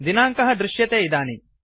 दिनाङ्कः दृश्यते इदानीम्